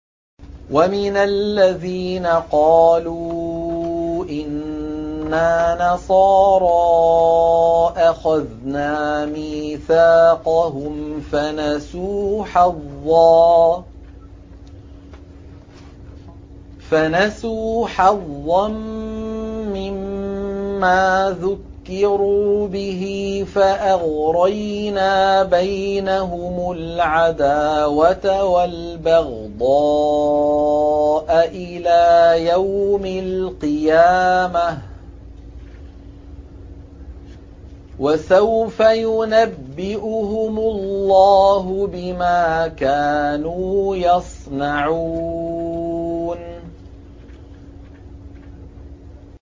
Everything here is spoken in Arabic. وَمِنَ الَّذِينَ قَالُوا إِنَّا نَصَارَىٰ أَخَذْنَا مِيثَاقَهُمْ فَنَسُوا حَظًّا مِّمَّا ذُكِّرُوا بِهِ فَأَغْرَيْنَا بَيْنَهُمُ الْعَدَاوَةَ وَالْبَغْضَاءَ إِلَىٰ يَوْمِ الْقِيَامَةِ ۚ وَسَوْفَ يُنَبِّئُهُمُ اللَّهُ بِمَا كَانُوا يَصْنَعُونَ